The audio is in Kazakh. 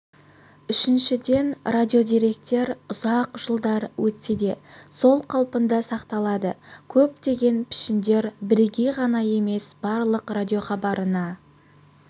үшіншіден радиодеректер ұзақ жылдар өтсе де сол қалпында сақталады көптеген пішіндер бірегей ғана емес барлық радиохабарына